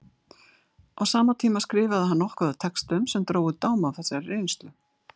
Á sama tíma skrifaði hann nokkuð af textum sem drógu dám af þessari reynslu.